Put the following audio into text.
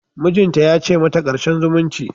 Mijinta ya ce mata "Karshen zumunci!".